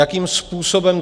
Jakým způsobem?